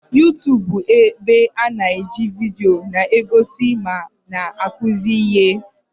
Yuutubu bụ ebe a na-eji vidio na-egosi ma na-akụzi ihe.